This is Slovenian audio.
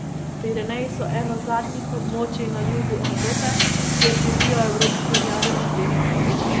Pireneji so eno zadnjih območij na jugu Evrope, kjer živijo evropski rjavi medvedi.